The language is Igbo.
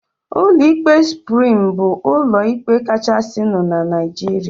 Ụlọ ikpe Suprim bụ ụlọ ikpe kachasinu n'Naijiria